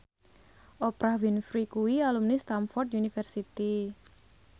Oprah Winfrey kuwi alumni Stamford University